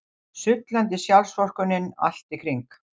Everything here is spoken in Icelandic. Sullandi sjálfsvorkunnin allt í kring.